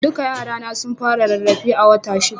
Duka yara na sun fara rarrafe a wata shida